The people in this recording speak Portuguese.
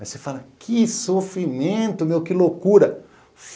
Aí você fala, que sofrimento meu, que loucura.